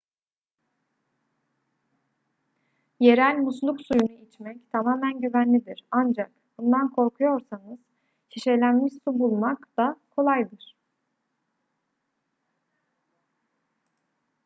yerel musluk suyunu içmek tamamen güvenlidir ancak bundan korkuyorsanız şişelenmiş su bulmak da kolaydır